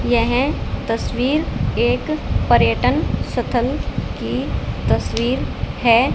यह तस्वीर एक पर्यटन सथल की तस्वीर है।